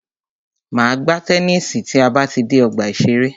Máa gbá tennisi tí a bá ti dé ọgbà ìṣẹ̀rẹ́.